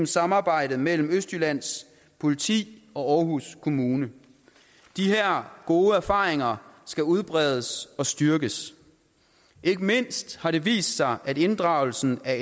samarbejdet mellem østjyllands politi og aarhus kommune de her gode erfaringer skal udbredes og styrkes ikke mindst har det vist sig at inddragelsen af